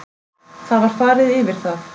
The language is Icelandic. Það var farið yfir það